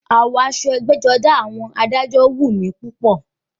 Àwọ̀ aṣọ ẹgbẹ́-jọdá àwọn adájọ́ wù mí púpọ̀.